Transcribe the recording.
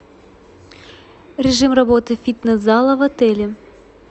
режим работы фитнес зала в отеле